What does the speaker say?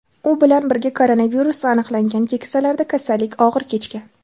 U bilan birga koronavirus aniqlangan keksalarda kasallik og‘ir kechgan.